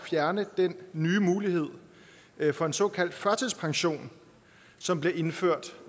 fjerne den nye mulighed for en såkaldt førtidspension som bliver indført